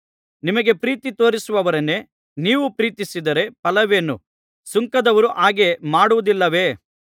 ನಿಮಗೆ ಪ್ರೀತಿ ತೋರಿಸುವವರನ್ನೇ ನೀವು ಪ್ರೀತಿಸಿದರೆ ಫಲವೇನು ಸುಂಕದವರು ಹಾಗೆ ಮಾಡುವುದಿಲ್ಲವೇ